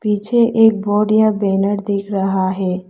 पीछे एक बोर्ड या बैनर दिख रहा है।